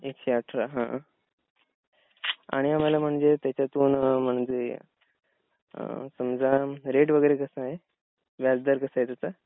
एकशे अठरा हा. आणि आम्हाला म्हणजे त्याच्यातुन म्हणजे आं समजा रेट वगैरे कसा आहे? व्याजदर कसा आहे त्याचा?